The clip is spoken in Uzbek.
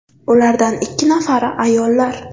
Ulardan ikki nafari ayollar.